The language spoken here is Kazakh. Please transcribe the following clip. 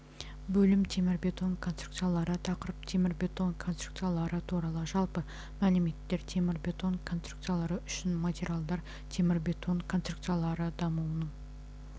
бөлім темірбетон конструкциялары тақырып темірбетон конструкциялары туралы жалпы мәліметтер темірбетон конструкциялары үшін материалдар темірбетон конструкциялары дамуының